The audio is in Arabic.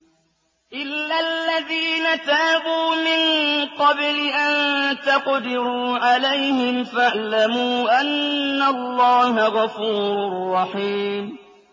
إِلَّا الَّذِينَ تَابُوا مِن قَبْلِ أَن تَقْدِرُوا عَلَيْهِمْ ۖ فَاعْلَمُوا أَنَّ اللَّهَ غَفُورٌ رَّحِيمٌ